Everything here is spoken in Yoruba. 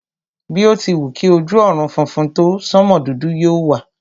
Bí o ti wù kí ojú ọ̀run funfun tó, sánmò dúdú yóò wà.